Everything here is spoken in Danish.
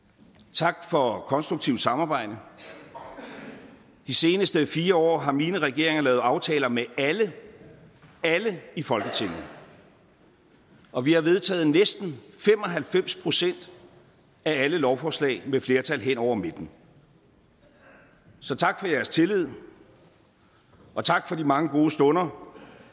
tak for et konstruktivt samarbejde de seneste fire år har mine regeringer lavet aftaler med alle alle i folketinget og vi har vedtaget næsten fem og halvfems procent af alle lovforslag med flertal hen over midten så tak for jeres tillid og tak for de mange gode stunder